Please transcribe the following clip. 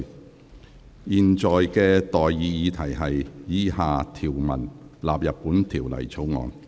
我現在向各位提出的待議議題是：以下條文納入本條例草案。